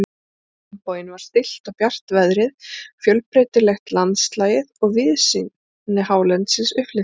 Á hinn bóginn var stillt og bjart veðrið, fjölbreytilegt landslagið og víðsýni hálendisins upplyftandi.